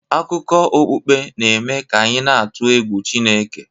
Akụkọ okpukpe n'eme ka anyị na-atụ egwu Chineke